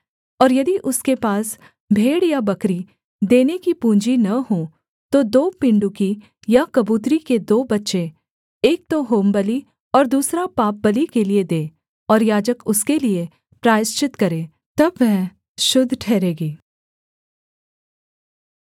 और यदि उसके पास भेड़ या बकरी देने की पूँजी न हो तो दो पिण्डुकी या कबूतरी के दो बच्चे एक तो होमबलि और दूसरा पापबलि के लिये दे और याजक उसके लिये प्रायश्चित करे तब वह शुद्ध ठहरेगी